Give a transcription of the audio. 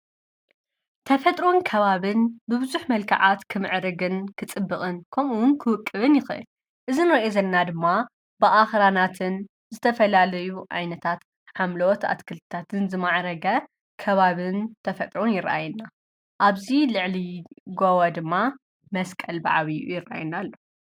ተፈጥሮን ከባብን ብብዙኅ መልከዓት ክምዕርግን ክጽብቕን ከምኡውን ክውቅብን ይኽእል እዚ ንርእዮ ዘለና ድማ ብኣኽራናትን ዝተፈላለዩ ዓይነታት ሓምለወት ኣትክልታትን ዝመዓረገ ከባብን ተፈጥሮን ይረአየና ኣብዙይ ልዕሊ ጎቦ ድማ መስቀል በዓቢይኡ ይረአየና ኣሎ።